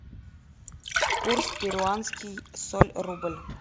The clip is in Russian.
курс перуанский соль рубль